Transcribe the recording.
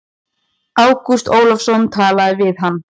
Ágúst Ólafsson talaði við hann.